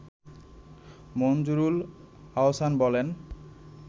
মনজুরুল আহসান বলেন